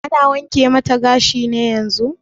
Ana wanke mata gashi ne yanzun?